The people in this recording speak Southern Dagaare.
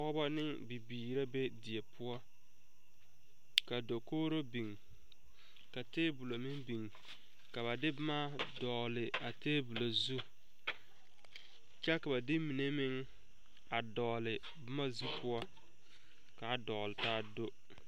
Pɔge la zoɔ koriwire a su kpare sɔglaa nu miilɛ a seɛ goŋdoŋ ka ba mine meŋ be o puori sɛŋ a tuo boma ne bɔtɔ ka kaŋa meŋ tuo a woɔ ne o zu kyɛ ka kaŋa kyɛnɛ lere o nuuri.